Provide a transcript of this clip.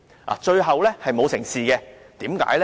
不過，最後並沒有成事，為甚麼呢？